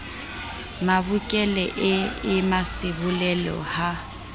mabokelle e e mmasebolelo ha